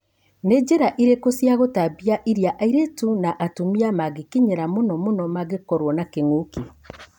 Nĩ njĩra ĩrĩkũ cia gũtambia iria airĩtu na atumia mangĩkinyĩra mũno mũno mangĩkorana na kĩng'ũki ?